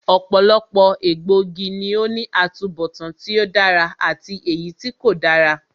Ọ̀pọ̀lọpọ̀ egbòogi ló ní atubọtan tí ó dára àti èyítí kò dára